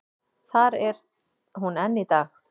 Þar er hún enn í dag.